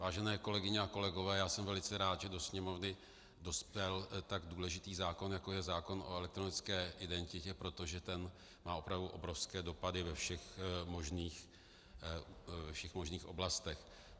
Vážené kolegyně a kolegové, já jsem velice rád, že do Sněmovny dospěl tak důležitý zákon, jako je zákon o elektronické identitě, protože ten má opravdu obrovské dopady ve všech možných oblastech.